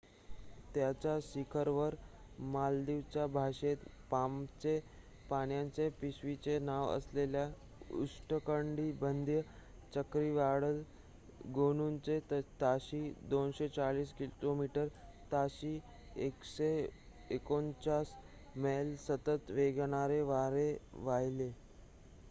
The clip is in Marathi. त्याच्या शिखरावर मालदीवच्या भाषेत पामच्या पानांच्या पिशवीचे नाव असलेले उष्णकटिबंधीय चक्रीवादळ गोनूचे ताशी 240 किलोमीटर ताशी 149 मैल सतत वेगाने वारे वाहिले